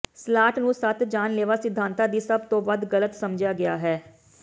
slot ਨੂੰ ਸੱਤ ਜਾਨਲੇਵਾ ਸਿਧਾਂਤਾਂ ਦੀ ਸਭ ਤੋਂ ਵੱਧ ਗਲਤ ਸਮਝਿਆ ਗਿਆ ਹੈ